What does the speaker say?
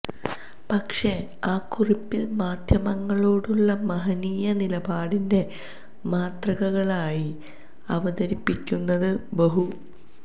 പക്ഷേ ആ കുറിപ്പിൽ മാധ്യമങ്ങളോടുള്ള മഹനീയ നിലപാടിൻ്റെ മാതൃകകളായി അവതരിപ്പിയ്ക്കുന്നത് ബഹു